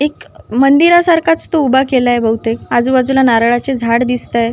एक मंदीरा सारख च तो उभा केलंय बहुतेक आजूबाजूला नारळाचे झाड दिसताय.